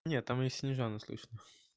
нет там и снежану слышно